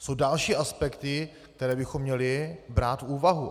Jsou další aspekty, které bychom měli brát v úvahu.